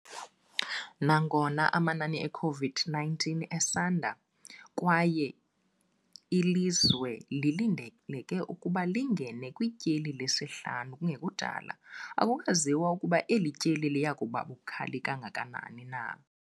Nangona amanani e-COVID-19 esanda kwaye ilizwe lilindeleke ukuba lingene kwityeli lesihlanu kungekudala, akukaziwa ukuba eli tyeli liya kuba bukhali kangakanani na.